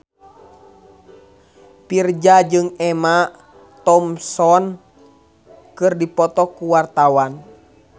Virzha jeung Emma Thompson keur dipoto ku wartawan